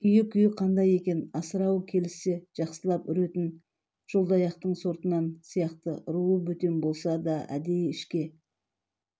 үйі-күйі қандай екен асырауы келіссе жақсылап үретін жолдаяқтың сортынан сияқты руы бөтен болса да әдей ішке